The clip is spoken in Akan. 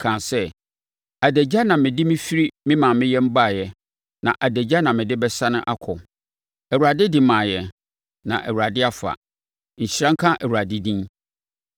kaa sɛ, “Adagya na mede mefiri me maame yam baeɛ, na adagya na mede bɛsane akɔ. Awurade de maeɛ, na Awurade afa; nhyira nka Awurade din!”